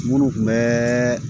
Munnu kun bɛ